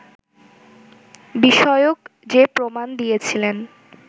বিষয়ক যে প্রমাণ দিয়েছিলেন